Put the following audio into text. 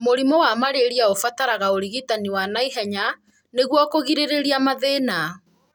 Mũrimũ wa malaria ũbataraga ũrigitani wa naihenya nĩguo kũgirĩrĩria mathĩna.